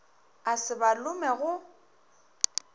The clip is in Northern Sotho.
a se ba lome go